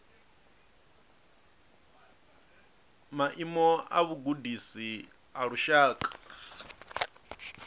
maimo a vhugudisi a lushaka